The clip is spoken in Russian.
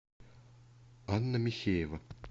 анна михеева